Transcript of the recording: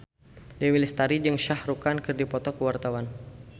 Dewi Lestari jeung Shah Rukh Khan keur dipoto ku wartawan